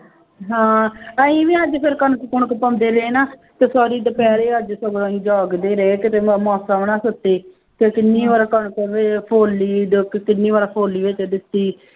ਹਾਂ ਅਸੀਂ ਵੀ ਅੱਜ ਫਿਰ ਕਣਕ ਕੁਣਕ ਪਾਉਂਦੇ ਰਹੇ ਨਾ ਤੇ ਸਾਰੀ ਦੁਪਹਿਰੇ ਅੱਜ ਸਗੋਂ ਅਸੀਂ ਜਾਗਦੇ ਰਹੇ ਤੇ ਮੈਂ ਮਾਸਾਂ ਵੀ ਨਾ ਸੁੱਤੀ ਤੇ ਕਿੰਨੀ ਵਾਰ ਕਣਕ ਵੀ ਫੋਲੀ ਤੇ ਕਿੰਨੀ ਵਾਰ ਫੋਲੀ ਹੈ ਤੇ ਦਿੱਤੀ